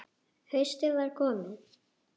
Haustið var komið.